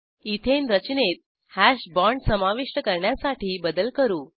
ethane रचनेत hash bond समाविष्ट करण्यासाठी बदल करू